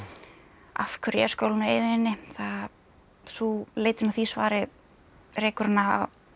af hverju er skólinn á eyðieyjunni leitin að því svari rekur hana